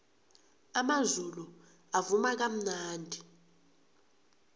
amazulu avuma kamnandi